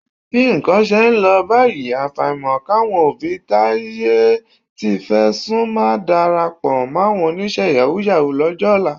Bí nǹkan ṣe ń lọ báyìí, àfàìmọ̀ káwọn òbí táyé tí fẹ́ sú má darapọ̀ máwọn oníṣẹ́ yàwúù-yàwúù lọ́jọ́ ọ̀la